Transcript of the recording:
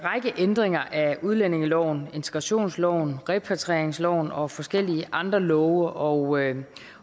ændringer af udlændingeloven integrationsloven repatrieringsloven og forskellige andre love og